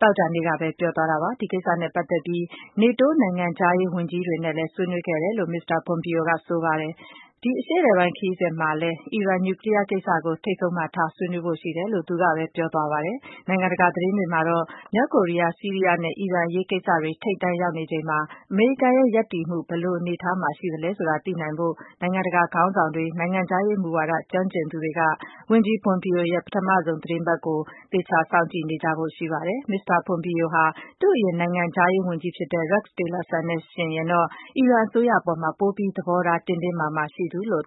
သောကြာနေ့ကပဲ ပြောသွားတာပါ။ ဒီကိစ္စနဲ့ပတ်သက်ပြီးတော့ နေတိုး နိုင်ငံခြားရေးဝန်ကြီးတွေနဲ့လည်း ဆွေးနွေးခဲ့တယ်လို့ မစ္စတာ ပွန်ပီယိုက ဆိုပါတယ်။ ဒီအရှေ့အလယ်ပိုင်း ခရီးစဉ်မှာလည်း အီရန် နျူကလီယားကိစ္စကို ထိပ်ဆုံးမှာထား ဆွေးနွေးဖို့ရှိတယ်လို့ သူကပဲ ပြောသွားပါတယ်။ နိုင်ငံတကာသတင်းတွေမှာ မြောက်ကိုရီးယား၊ ဆီးရီးယားနဲ့ အီရန်အရေးကိစ္စတွေ ထိပ်တန်းရောက်နေချိန်မှာ အမေရိကန်ရဲ့ ရပ်တည်မှု ဘယ်လို အနေအထားမှာ ရှိလဲဆိုတာ သိနိုင်ဖို့အတွက် နိုင်ငံတကာခေါင်းဆောင်တွေ၊ နိုင်ငံခြားရေးမူဝါဒကျွမ်းကျင်သူတွေက ဝန်ကြီး ပွန်ပီယိုရဲ့ ပထမဆုံး သီတင်းပတ်ကို သေချာ စောင့်ကြည့်နေကြဖို့ရှိပါတယ်။ မစ္စတာ ပွန်ပီယိုဟာ သူ့အရင်နိုင်ငံခြားရေးဝန်ကြီးဖြစ်တဲ့ Rex Tillerson နဲ့ယှဉ်ရင်တော့ အီရန်အစိုးရအပေါ်မှာ ပိုပြီး သဘောထား တင်းတင်းမာမာ ရှိသူလို့